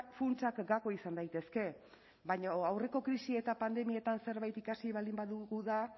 funtsak gako izan daitezke baina aurreko krisi eta pandemietan zerbait ikasi baldin badugu da